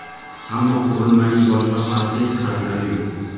Ammo qurilmaning boshqa farqli jihatlari yo‘q.